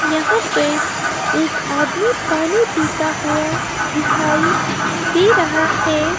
यह पे एक आदमी पानी पिता हुआ दिखाई दे रहा है।